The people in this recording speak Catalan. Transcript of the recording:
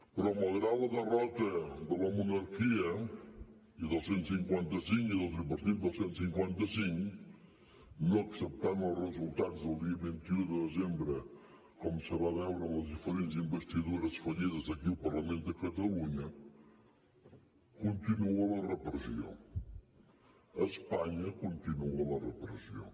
però malgrat la derrota de la monarquia i del cent i cinquanta cinc i del tripartit del cent i cinquanta cinc no acceptant els resultats del dia vint un de desembre com se va veure amb les diferents investidures fallides des d’aquí el parlament de catalunya continua la repressió a espanya continua la repressió